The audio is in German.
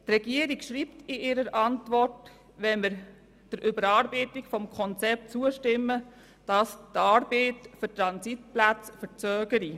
Die Regierung schreibt in ihrer Antwort, dass wenn man der Erarbeitung des Konzepts zustimme, dies die Arbeit für die Transitplätze verzögere.